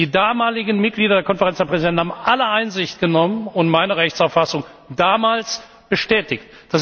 Die damaligen Mitglieder der Konferenz der Präsidenten haben alle Einsicht genommen und meine Rechtsauffassung damals bestätigt.